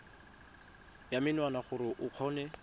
ya menwana gore o kgone